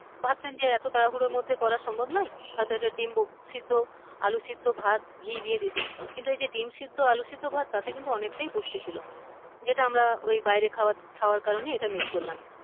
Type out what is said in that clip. ভাবছেন যে এতো তাড়াহুড়োর মধ্যে করা সম্ভব নয় হয়তো একট্ ডিম সিদ্ধ আলু সিদ্ধ ভাত ঘি দিয়ে দিতেন। কিন্তু এযে ডিম সিদ্ধ আলু সিদ্ধ ভাত তাতে কিন্তু অনেকটাই পুষ্টি ছিল যেটা আমরা ঐ বাইরে খাওয়া খাওয়ার কারনে এটা miss করলাম।